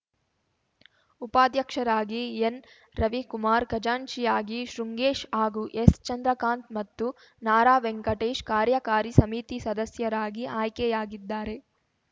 ಉಪಾಧ್ಯಕ್ಷರಾಗಿ ಎನ್‌ ರವಿಕುಮಾರ್ ಖಜಾಂಚಿಯಾಗಿ ಶೃಂಗೇಶ್‌ ಹಾಗೂ ಎಸ್‌ ಚಂದ್ರಕಾಂತ್‌ ಮತ್ತು ನ ರಾ ವೆಂಕಟೇಶ್‌ ಕಾರ್ಯಕಾರಿ ಸಮಿತಿ ಸದಸ್ಯರಾಗಿ ಆಯ್ಕೆಯಾಗಿದ್ದಾರೆ